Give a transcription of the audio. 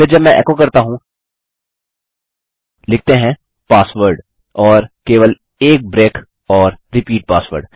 फिर जब मैं एको करता हूँ लिखते हैं पासवर्ड और केवल एक ब्रेक और रिपीट पासवर्ड